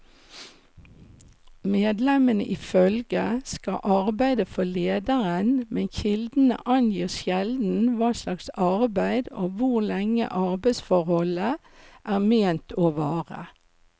Medlemmene i følget skal arbeide for lederen, men kildene angir sjelden hva slags arbeid og hvor lenge arbeidsforholdet er ment å vare.